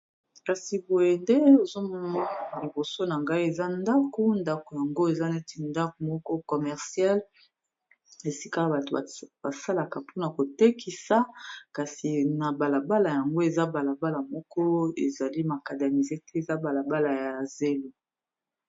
kasi boye nde ozomoma na liboso na ngai eza ndako ndako yango eza neti ndako moko comercial esika a bato basalaka mpona kotekisa kasi na balabala yango eza balabala moko ezali makademise te eza balabala ya zelo